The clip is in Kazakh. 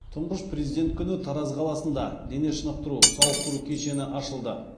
тұңғыш президент күні тараз қаласында дене шынықтыру сауықтыру кешені ашылды